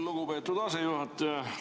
Lugupeetud asejuhataja!